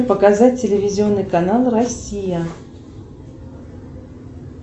показать телевизионный канал россия